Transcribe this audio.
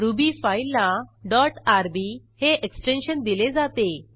ruby फाईलला dot RB हे extension दिले जाते